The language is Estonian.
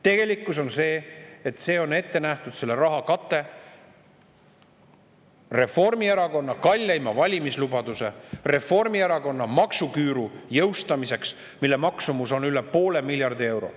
Tegelikkus on see, et see raha on ette nähtud Reformierakonna kalleima valimislubaduse, maksuküüru, mille maksumus on üle poole miljardi euro.